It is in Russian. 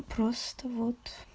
просто вот